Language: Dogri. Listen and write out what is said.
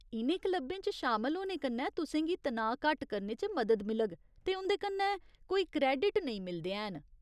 इ'नें क्लबें च शामल होने कन्नै तुसें गी तनाऽ घट्ट करने च मदद मिलग, ते उं'दे कन्नै कोई क्रेडिट नेईं मिलदे हैन।